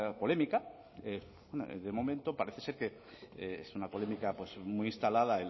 polémica bueno de momento parece ser que es una polémica pues muy instalada